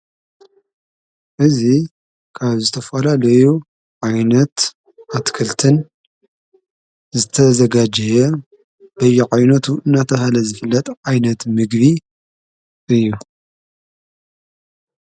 እዚ ካብ ዝተፈላለዮ ዓይነት ኣትክልትን ዝተዘጋጀየ በይዓይነቱ እናተባሃለ ዝፍለጥ ዓይነት ምግቢ እዩ።